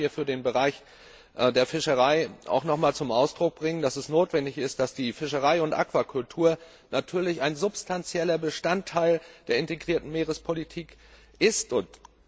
Ich darf hier für den Bereich der Fischerei noch einmal zum Ausdruck bringen, dass es notwendig ist, dass Fischerei und Aquakultur natürlich ein substanzieller Bestandteil der integrierten Meerespolitik sind.